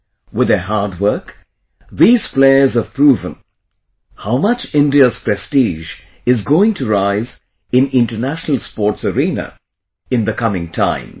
With their hard work, these players have proven how much India's prestige is going to rise in international sports arena in the coming times